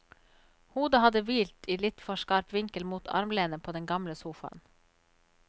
Hodet hadde hvilt i litt for skarp vinkel mot armlenet på den gamle sofaen.